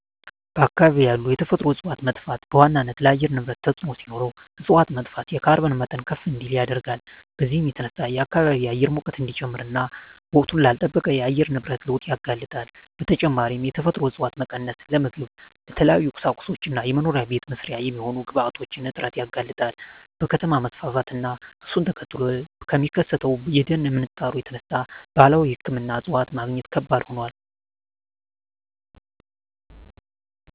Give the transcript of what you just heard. በአካባቢ ያሉ የተፈጥሮ እፀዋት መጥፋት በዋናነት ለአየር ንብረት ተፅዕኖ ሲኖረው እፅዋት መጥፋት የካርቦን መጠን ከፍ እንዲል ያደርጋል። በዚህም የተነሳ የከባቢ አየር ሙቀት እንዲጨምር እና ወቅቱን ላልለጠበቀ የአየር ንብረት ለውጥ ያጋልጣል። በተጨማሪም የተፈጥሮ እፀዋት መቀነስ ለምግብ፣ ለተለያዩ ቁሳቁሶች እና መኖሪያ ቤት መስሪያ የሚሆኑ ግብአቶች እጥረት ያጋልጣል። ከከተማ መስፋፋት እና እሱን ተከትሎ ከሚከሰተው የደን ምንጣሮ የተነሳ ባህላዊ ሕክምና እፅዋት ማግኘት ከባድ ሆኗል።